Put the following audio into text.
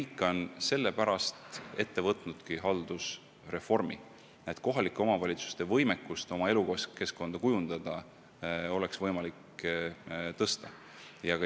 Riik ongi sellepärast ette võtnud haldusreformi, et kohalike omavalitsuste võimekus oma elukeskkonda kujundada oleks suurem.